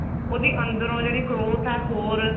ਉਹਦੀ ਅੰਦਰੋ ਜਿਹੜੀ growth ਹੈ ਹੋਰ